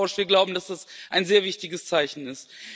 Wir glauben, dass das ein sehr wichtiges Zeichen ist.